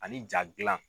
Ani ja gilan